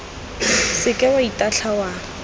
se ke wa ithaya wa